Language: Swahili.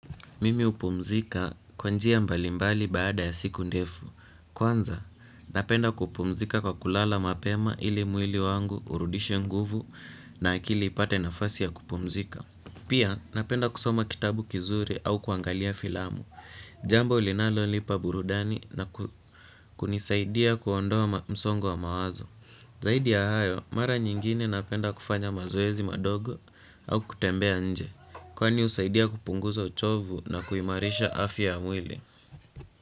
Mimi hupumzika kwa njia mbalimbali baada ya siku ndefu. Kwanza, napenda kupumzika kwa kulala mapema ili mwili wangu urudishe nguvu na akili ipate nafasi ya kupumzika. Pia, napenda kusoma kitabu kizuri au kuangalia filamu. Jambo linalo nipa burudani na kunisaidia kuondoa msongo wa mawazo. Zaidi ya hayo, mara nyingine napenda kufanya mazoezi madogo au kutembea nje. Kwani husaidia kupunguza uchovu na kuimarisha afya ya mwili.